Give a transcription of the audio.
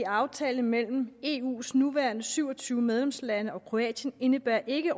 aftale mellem eus nuværende syv og tyve medlemslande og kroatien indebærer ikke